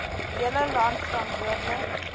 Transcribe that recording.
hele land verantwoordelik